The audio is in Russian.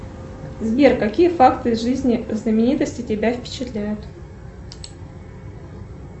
сбер какие факты из жизни знаменитостей тебя впечатляют